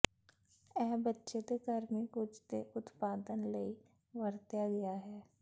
ਇਹ ਬੱਚੇ ਦੇ ਗਰਮੀ ਕੁਝ ਦੇ ਉਤਪਾਦਨ ਲਈ ਵਰਤਿਆ ਗਿਆ ਹੈ